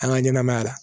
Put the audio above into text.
An ka ɲɛnɛmaya la